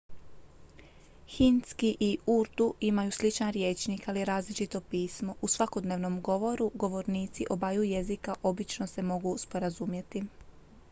hindski i urdu imaju sličan rječnik ali različito pismo u svakodnevnom govoru govornici obaju jezika obično se mogu sporazumjeti